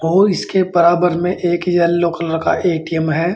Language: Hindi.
और इसके बराबर में एक येलो कलर का ए_टी_एम है।